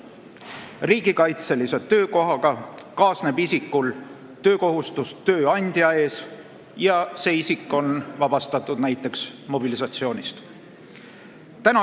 Riigikaitselise töökohaga kaasneb isiku töökohustus tööandja ees ja see isik on vabastatud näiteks mobilisatsioonist.